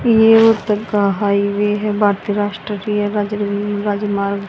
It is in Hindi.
ये उधर का हाइवे है भारतीय राष्ट्रीय राजमार्ग--